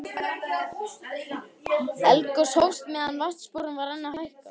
Eldgos hófst meðan vatnsborðið var enn að hækka.